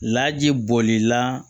Laji bɔlila